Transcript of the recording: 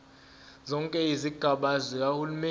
zonke izigaba zikahulumeni